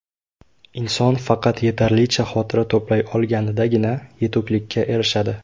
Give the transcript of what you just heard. Inson faqat yetarlicha xotira to‘play olganidagina yetuklikka erishadi.